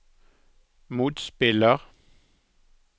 motspiller